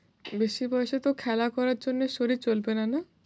বেশি বয়সে তো খেলা করার জন্যে শরীর চলবে না, না?